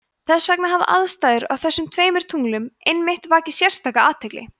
þess vegna hafa aðstæður á þessum tveimur tunglum einmitt vakið sérstaka athygli